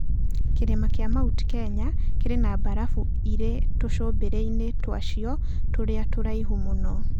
Kĩrĩma kĩa Mount Kenya kĩrĩ na mbarabu irĩ tũcũmbĩrĩ-inĩ twacio tũrĩa tũraihu mũno.